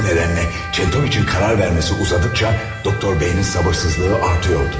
Bu nədənlə Çentoviç'in qərar verməsi uzadıkca Doktor B-nin sabırsızlığı artıyordu.